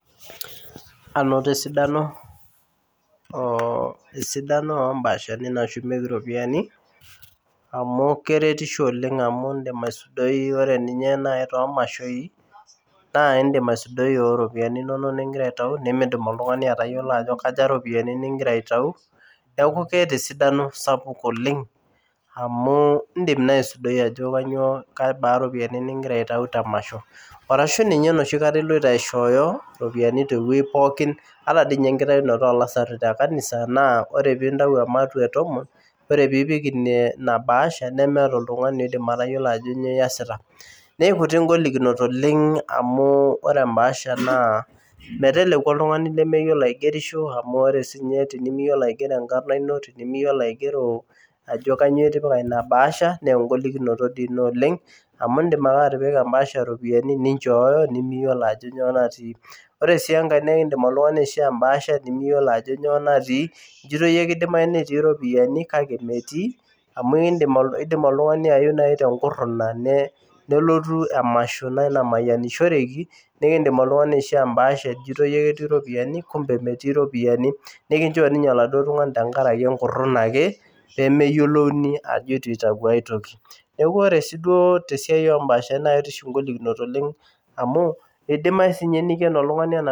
Anoto esidano oh esidano ombaashani nashumieki iropiyiani amu keretisho oleng amu indim aisudoi ore ninye naaji tomashoi naa indim aisudoi oropiyiani inonok ningira aitai nimidim oltung'ani atayiolo ajo kaja iropiyiani ningira aitau neeku keeta esidano sapuk oleng amu indim naa aisudoi ajo kanyio kabaa iropiyiani ningira aitau temasho arashu ninye enoshi kata iloito aishooyo iropiyiani tewueji pookin ata diinye enkitaunoto olasarri te kanisa naa ore pintau ematua etomon ore piiipik ine ina bahasha nemeeta oltung'ani oidim atayiolo ajo nyoo iyasita neikutik ingolikinot oleng amu ore embaasha naa meteleku oltung'ani lemeyiolo aigerisho amu ore sinye tenimiyiolo aigero enkarrna ino tenimiyiolo aigero ajo kanyio itipika ina bahasha naa engolikinoto dii ina oleng amu indim ake atipika embaasha iropiyiani ninchooyo nemiyiolo ajo nyoo natii ore sii enkae nekindim oltung'ani aishoo embaasha nimiyiolo ajo nyoo natii nijito iyie kidimai netii iropiyiani kake metii amu ekindim idim oltung'ani ayeu naaji tenkurruna ne nelotu emasho naaji namayianishoreki nikindim oltung'ani aishoo embaasha ijoito iyie ketii iropiyiani kumbe metii iropiyiani nikinchoo ninye oladuo tung'ani tenkarake enkurruna ake pemeyiolouni ajo etu itau aetoki neku ore sii duo tesiai ombashani naa ketii oshi ingolikinot oleng amu eidimai sinye niken oltung'ani ena.